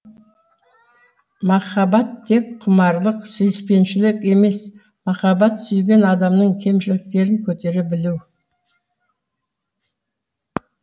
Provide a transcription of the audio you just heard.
махаббат тек құмарлық сүйіспеншілік емес махаббат сүйген адамның кемшіліктерін көтере білу